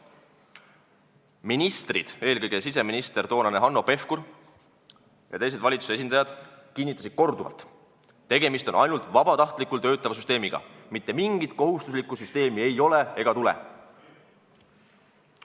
Ministrid, eelkõige toonane siseminister Hanno Pevkur ja teised valitsuse esindajad, kinnitasid korduvalt, et tegemist on ainult vabatahtlikult töötava süsteemiga, mitte mingit kohustuslikku süsteemi ei ole ega tule.